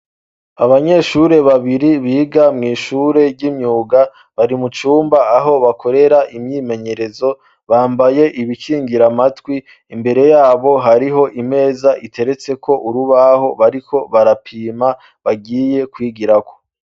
Abanyeshure babiri biga mw'ishure ry'imyuga bari mucumba aho bakorera imyimenyerezo bambaye ibikingira amatwi imbere yabo hariho imeza iteretseko urubaho bariko barapima bagiye kwigirako.